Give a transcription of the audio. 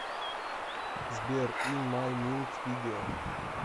сбер ин май минд видео